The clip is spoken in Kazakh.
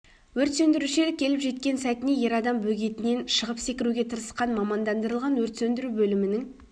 өрт сөндірушілер келіп жеткен сәтіне ер адам бөгетінен шығып секіруге тырысқан мамандандырылған өрт сөндіру бөлімінің